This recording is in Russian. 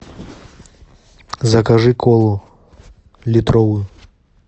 закажи колу литровую